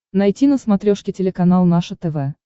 найти на смотрешке телеканал наше тв